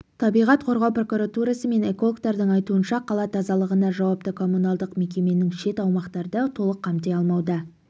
табиғат қорғау прокуратурасы мен экологтардың айтуынша қала тазалығына жауапты коммуналдық мекеменің шет аумақтарды толық қамти алмауда